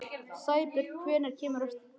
Sæbjörn, hvenær kemur strætó númer þrjú?